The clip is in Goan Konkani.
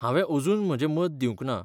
हांवें अजून म्हजें मत दिवंक ना.